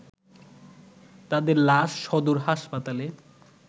তাদের লাশ সদর হাসপাতালে